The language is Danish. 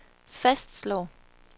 fastslår